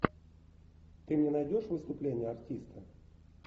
ты мне найдешь выступление артиста